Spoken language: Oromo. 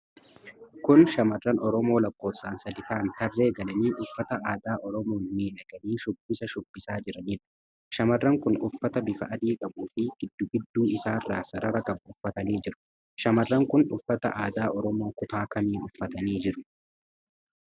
Kun shamarran Oromoo lakkoofsaan sadi ta'anii tarree galanii, uffata aadaa Oromoon miidhaganii shubbisa shubbisaa jiranidha. Dhamarran kun uffata bifa adii qabu fi giddu gidduu isaarra sarara qabu uffatanii jiru. Shamarran kun uffata aadaa Oromoo kutaa kamii uffatanii jiru?